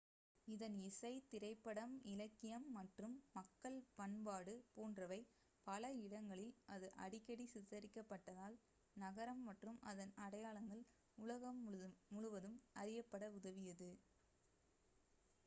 இதன் இசை திரைப்படம் இலக்கியம் மற்றும் மக்கள் பண்பாடு போன்றவை பல இடங்களில் அது அடிக்கடி சித்தரிக்கப்பட்டதால் நகரம் மற்றும் அதன் அடையாளங்கள் உலகம் முழுவதும் அறியப்பட உதவியது